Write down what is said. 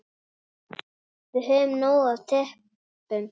Við höfum nóg af teppum.